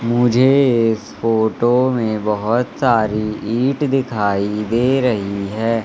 मुझे इस फोटो में बहोत सारी ईट दिखाई दे रही हैं।